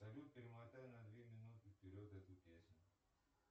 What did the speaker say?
салют перемотай на две минуты вперед эту песню